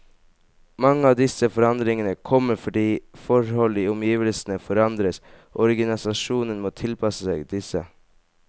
Mange av disse forandringene kommer fordi forhold i omgivelsene forandres, og organisasjonen må tilpasse seg disse.